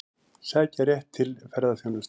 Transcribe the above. Sækja rétt til ferðaþjónustu